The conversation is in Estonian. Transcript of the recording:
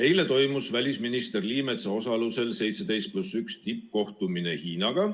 Eile toimus välisminister Liimetsa osalusel 17 + 1 tippkohtumine Hiinaga.